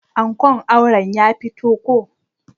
Ankon auren ya fito ko.